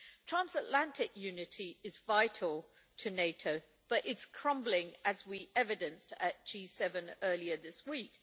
Transatlantic unity is vital to NATO, but it's crumbling, as we evidenced at G7 earlier this week.